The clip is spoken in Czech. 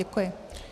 Děkuji.